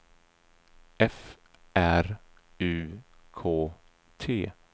F R U K T